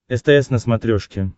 стс на смотрешке